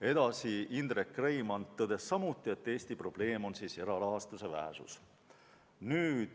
Edasi, Indrek Reimand tõdes samuti, et Eesti probleem on erarahastuse vähesus.